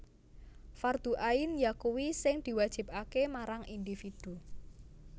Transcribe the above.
Fardhu Ain yakuwi sing diwajibaké marang individu